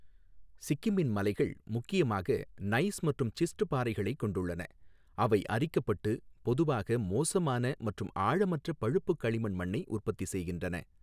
சிக்கிமின் மலைகள் முக்கியமாக நைஸ் மற்றும் சிஸ்ட் பாறைகளைக் கொண்டுள்ளன, அவை அரிக்கப்பட்டு பொதுவாக மோசமான மற்றும் ஆழமற்ற பழுப்பு களிமண் மண்ணை உற்பத்தி செய்கின்றன.